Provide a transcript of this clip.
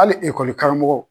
Ali ekɔli karamɔgɔw